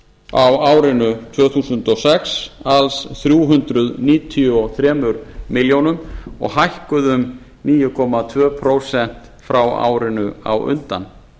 á árinu tvö þúsund og sex alls þrjú hundruð níutíu og þrjár milljónir og hækkuðu um níu komma tvö prósent frá árinu á undan